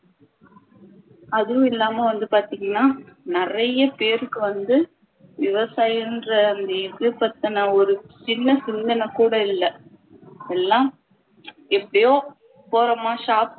அதுவும் இல்லாம வந்து பாத்திங்கண்ணா நிறைய பேருக்கு வந்து விவசாயன்ற இது பத்தின ஒரு சின்ன சிந்தனை கூட இல்லை இப்போல்லாம் எப்பயோ போறோமா